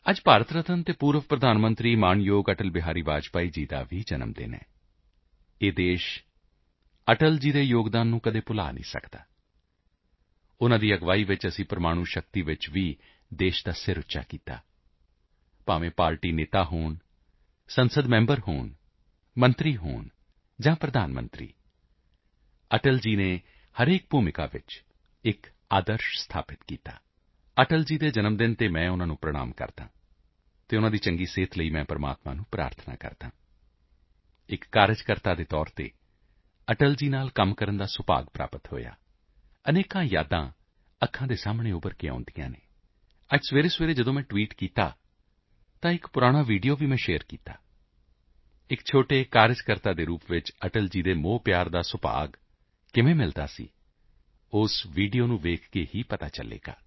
ਅੱਜ ਭਾਰਤ ਰਤਨ ਅਤੇ ਸਾਬਕਾ ਪ੍ਰਧਾਨ ਮੰਤਰੀ ਸਤਿਕਾਰਯੋਗ ਅਟਲ ਬਿਹਾਰੀ ਵਾਜਪੇਈ ਜੀ ਦਾ ਵੀ ਜਨਮ ਦਿਨ ਹੈ ਇਹ ਦੇਸ਼ ਅਟਲ ਜੀ ਦੇ ਯੋਗਦਾਨ ਨੂੰ ਕਦੇ ਨਹੀਂ ਭੁਲਾ ਸਕਦਾ ਉਨ੍ਹਾਂ ਦੀ ਅਗਵਾਈ ਹੇਠ ਅਸੀਂ ਪ੍ਰਮਾਣੂ ਸ਼ਕਤੀ ਵਿੱਚ ਦੇਸ਼ ਦਾ ਸਿਰ ਉੱਪਰ ਕੀਤਾ ਪਾਰਟੀ ਆਗੂ ਹੋਵੇ ਸੰਸਦ ਮੈਂਬਰ ਹੋਵੇ ਜਾਂ ਪ੍ਰਧਾਨ ਮੰਤਰੀ ਅਟਲ ਜੀ ਨੇ ਹਰੇਕ ਭੂਮਿਕਾ ਵਿੱਚ ਇੱਕ ਆਦਰਸ਼ ਸਥਾਪਤ ਕੀਤਾ ਅਟਲ ਜੀ ਦੇ ਜਨਮ ਦਿਨ ਉੱਤੇ ਮੈਂ ਉਨ੍ਹਾਂ ਨੂੰ ਪ੍ਰਣਾਮ ਕਰਦਾ ਹਾਂ ਅਤੇ ਉਨ੍ਹਾਂ ਦੀ ਚੰਗੀ ਸਿਹਤ ਲਈ ਈਸ਼ਵਰ ਨੂੰ ਪ੍ਰਾਰਥਨਾ ਕਰਦਾ ਹਾਂ ਇੱਕ ਕਾਰਕੁੰਨ ਹੋਣ ਦੇ ਨਾਤੇ ਅਟਲ ਜੀ ਦੇ ਨਾਲ ਕੰਮ ਕਰਨ ਦਾ ਸੁਭਾਗ ਮਿਲਿਆ ਅਨੇਕ ਯਾਦਾਂ ਅੱਖਾਂ ਦੇ ਸਾਹਮਣੇ ਉੱਭਰ ਕੇ ਆਉਂਦੀਆਂ ਹਨ ਅੱਜ ਸਵੇਰੇਸਵੇਰੇ ਜਦੋਂ ਮੈਂ ਟਵੀਟ ਕੀਤਾ ਤਾਂ ਇੱਕ ਪੁਰਾਣਾ ਵੀਡੀਓ ਵੀ ਮੈਂ ਸ਼ੇਅਰ ਕੀਤਾ ਹੈ ਇੱਕ ਛੋਟੇ ਕਾਰਕੁੰਨ ਦੇ ਤੌਰ ਤੇ ਅਟਲ ਜੀ ਦੀ ਮੋਹਵਰਖਾ ਦਾ ਸੁਭਾਗ ਕਿਵੇਂ ਮਿਲਦਾ ਸੀ ਉਸ ਵੀਡੀਓ ਨੂੰ ਵੇਖ ਕੇ ਹੀ ਪਤਾ ਚਲੇਗਾ